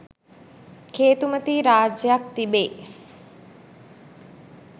කේතුමතී රාජ්‍යයක් තිබේ.